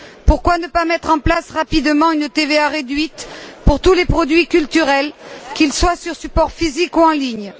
Pourquoi ne pas mettre en place rapidement une TVA réduite pour tous les produits culturels, qu'ils soient sur support physique ou en ligne?